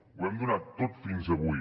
ho hem donat tot fins avui